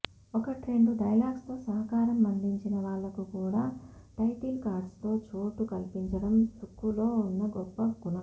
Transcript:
ఒకట్రెండు డైలాగ్స్తో సహకారం అందించిన వాళ్లకు కూడా టైటిల్ కార్డ్స్లో చోటు కల్పించడం సుక్కులో ఉన్న గొప్ప గుణం